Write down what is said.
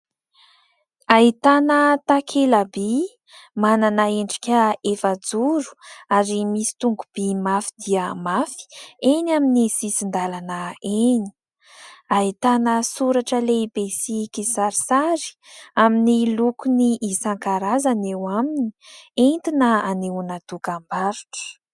Ahitana takela-by manana endrika efajoro ary misy tongo-by mafy dia mafy eny amin'ny sisin-dalana eny. Ahitana soratra lehibe sy kisarisary amin'ny lokony isan-karazany eo aminy, entina hanehoana dokam-barotra.